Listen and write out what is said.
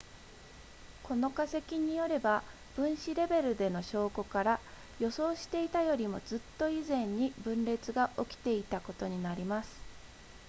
この化石によれば分子レベルでの証拠から予想していたよりもずっと以前に分裂が起きていたことになります